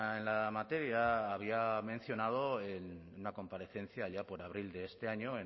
en la materia había mencionado en una comparecencia allá por abril de este año